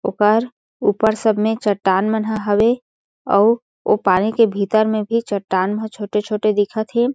ओकर ऊपर सब में चट्टान मन ह हवे अउ ओ पानी के भीतर में भी चट्टान ह छोटे-छोटे दिखत हे।